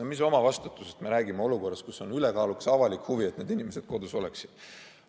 No mis omavastutusest me räägime olukorras, kus on ülekaalukas avalik huvi, et need inimesed kodus oleksid?